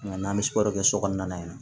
Nka n'an bɛ kɛ so kɔnɔna yen nɔ